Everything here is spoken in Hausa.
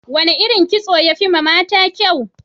Wane irin kitso ne ya fi yiwa mata kyau?